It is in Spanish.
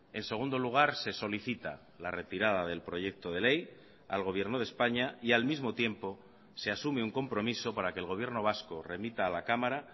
en segundo lugar se solicita la retirada del proyecto de ley al gobierno de españa y al mismo tiempo se asume un compromiso para que el gobierno vasco remita a la cámara